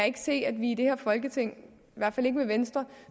ikke se at vi i det her folketing i hvert fald ikke med venstre